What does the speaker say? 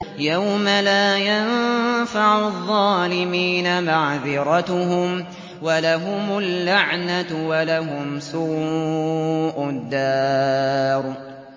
يَوْمَ لَا يَنفَعُ الظَّالِمِينَ مَعْذِرَتُهُمْ ۖ وَلَهُمُ اللَّعْنَةُ وَلَهُمْ سُوءُ الدَّارِ